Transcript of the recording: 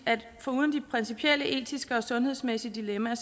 at foruden de principielle etiske og sundhedsmæssige dilemmaer